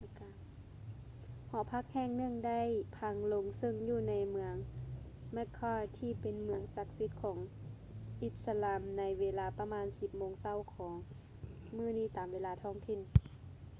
ຫໍພັກແຫ່ງໜຶ່ງໄດ້ພັງລົງເຊິ່ງຢູ່ໃນເມືອງ mecca ທີ່ເປັນເມືອງສັກສິດຂອງອິດສະລາມໃນເວລາປະມານ 10 ໂມງເຊົ້າຂອງມື້ນີ້ຕາມເວລາທ້ອງຖິ່ນ